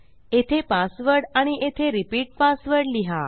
येथे पासवर्ड आणि येथे रिपीट पासवर्ड लिहा